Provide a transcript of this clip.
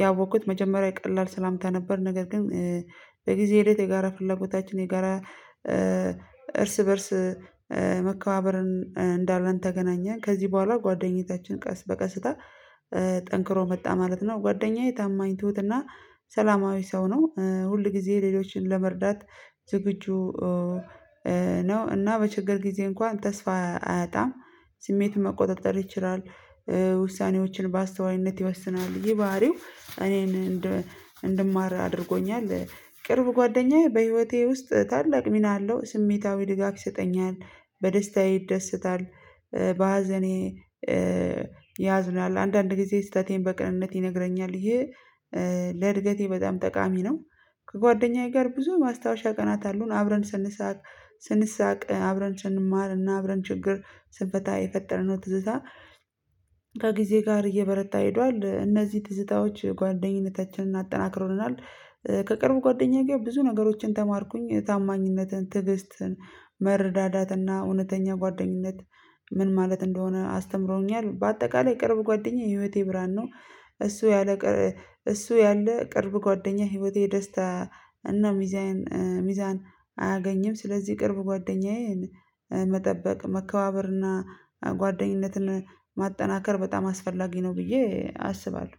ያወቅኩት መጀመሪያ ቀላል ሰላምታ ነበር ነገር ግን። በጊዜ ሄደት የጋራ ፍላጎታችን የጋራ እርስ በእርስ መከባበርን እንዳለን ተገናኘን ከዚህ በኋላ ጓደኝነታችን ቀስ በቀስታ ጠንክሮ መጣ ማለት ነው። ጓደኛዬ ታማኝ ትሁትና ሰላማዊ ሰው ነው። ሁል ጊዜ ሌሎችን ለመርዳት ዝግጁ ነው። እና በችግር ጊዜ እንኳን ተስፋ አያጣም። ስሜቱን መቆጣጠር ይችላል። ውሳኔዎችን በአስተዋይነት ይወስናል። ይህ ባህሪው እኔን እንድማር አድርጎኛል። ቅርብ ጓደኛዬ በህይወቴ ውስጥ ታላቅ ሚና አለው። ስሜታዊ ድጋፍ ይሰጠኛል። በደስታዬ ይደሰታል በሀዘኔ ያዝናል። አንዳንድ ጊዜ ስህተቴን በቅንነት ይነግረኛል። ይህ ለእድገቴ በጣም ጠቃሚ ነው። ከጓደኛዬ ጋር ብዙ ማስታወሻ ቀናት አሉን። አብረን ስንሳቅ ስንሳቅ አብረን ስንማርና አብረን ችግር ስንፈታ የፈጠርነው ትዝታ ከጊዜ ጋር እየበረታ ሄዷል። እነዚህ ትዝታዎች ጓደኝነታችንን አጠናክሮልናል። ከቅርብ ጓደኛዬ ጋ ብዙ ነገሮችን ተማርኩኝ ታማኝነትን ትዕግስትን መረዳዳትና እውነተኛ ጓደኝነት ምን ማለት እንደሆነ አስተምሮኛል። በአጠቃላይ ቅርብ ጓደኛዬ ህይወቴ ብርሃን ነው። እሱ ያለ እሱ ያለ ቅርብ ጓደኛዬ ህይወቴ ደስታ እና ሚዛን ሚዛን አያገኝም። ስለዚህ ቅርብ ጓደኛዬን መጠበቅ መከባበርና ጓደኝነትን ማጠናከር በጣም አስፈላጊ ነው። ብዬ አስባለሁ።